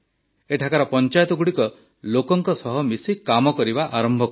ଏଠାକାର ପଞ୍ଚାୟତଗୁଡ଼ିକ ଲୋକଙ୍କ ସହ ମିଶି କାମ କରିବା ଆରମ୍ଭ କଲା